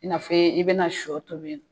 I n'a fɔ i be na sɔ tobi.